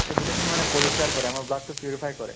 এই গোটেই খিনি মানে পৰিষ্কাৰ কৰে আমাৰ blood তো purify কৰে